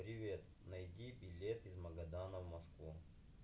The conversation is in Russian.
привет найди билет из магадана в москву